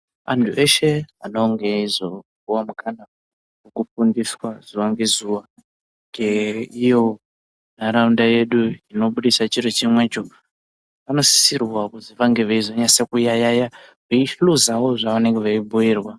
Antu eshe anonge eizopuwa mukana wekufundiswa zuwa ngezuwa ngeiyo ntaraunda yedu inobudisa chiro chimwecho anosisirwa kuti vange vaizonyasa kuyayeya veihluzawo zvavanenge veibhuirwa.